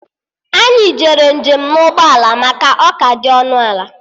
Anyị jere njem na ụgbọ ala maka ọ ka dị ọnụ ala